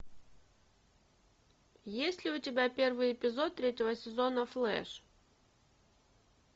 есть ли у тебя первый эпизод третьего сезона флэш